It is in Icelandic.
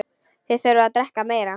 Þið þurfið að drekka meira.